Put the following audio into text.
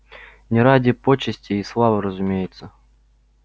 не ради почестей и славы разумеется